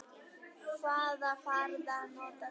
Hvaða farða notar þú?